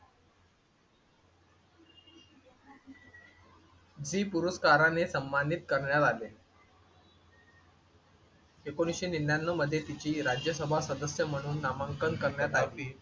Zee पुरस्काराने सन्मानित करण्यात आले. एकोणीसशे निन्यान्नव मध्ये तिची राज्यसभा सदस्य म्हणून नामांकन करण्यात आले.